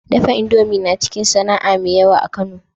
Dafa indomie naciki sAna'a me yawa a kano